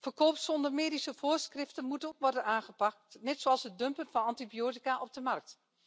Verkoop zonder medische voorschriften moet ook worden aangepakt, net zoals het dumpen van antibiotica op de markt.